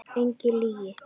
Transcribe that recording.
Enga lygi.